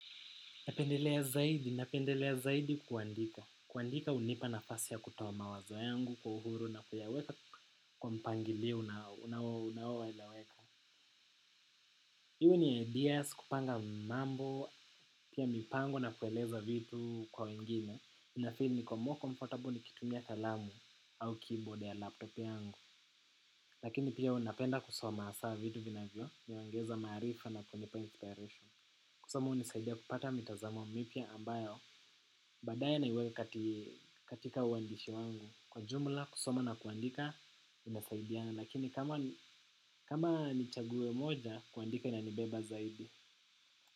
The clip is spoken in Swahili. Napendelea zaidi, napendelea zaidi kuandika. Kuandika unipa nafasi ya kutoa mawazo yangu kwa uhuru na kuyaweka kwa mpangilio una unao eleweka. Iwe ni ideas kupanga mambo, pia mipango na kueleza vitu kwa wengine. Inafeel niko more comfortable nikitumia kalamu au keyboard ya laptop yangu. Lakini pia napenda kusoma haswa vitu vinavyo niongeza maarifa na kunipa inspiration. Kusoma unisaidia kupata mitazamo mipya ambayo. Baadaye naiweka katika uwandishi wangu kwa jumla kusoma na kuandika inasaidiana. Lakini kama ni chaguo moja kuandika inanibeba zaidi.